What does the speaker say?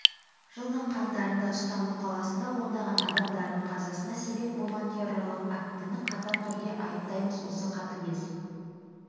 жылдың қаңтарында стамбұл қаласында ондаған адамдардың қазасына себеп болған террорлық актіні қатаң түрде айыптаймыз осы қатыгез